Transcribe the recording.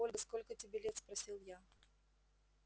ольга сколько тебе лет спросил я